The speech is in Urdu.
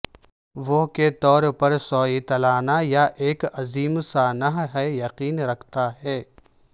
وہ کے طور پر سویتلانہ یہ ایک عظیم سانحہ ہے یقین رکھتا ہے